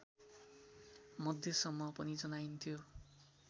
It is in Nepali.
मध्यसम्म पनि जनाइन्थ्यो